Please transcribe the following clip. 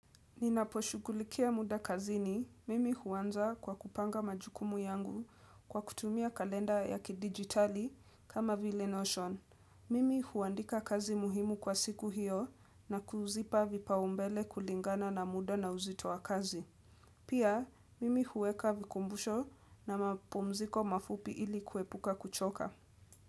Ninaposhughulikia muda kazini, mimi huanza kwa kupanga majukumu yangu kwa kutumia kalenda ya kidigitali kama vile Notion. Mimi huandika kazi muhimu kwa siku hiyo na kuzipa vipaumbele kulingana na muda na uzitoa kazi. Pia, mimi huweka vikumbusho na mapumziko mafupi ili kuepuka kuchoka.